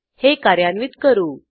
हे कार्यान्वित करू